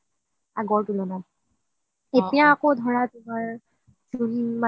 এতিয়া আগৰতুলনাত এতিয়া আকৌ ধৰা তোমাৰ